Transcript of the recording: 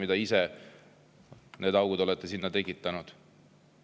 Ise olete need augud sinna tekitanud.